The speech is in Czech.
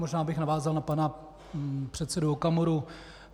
Možná bych navázal na pana předsedu Okamuru.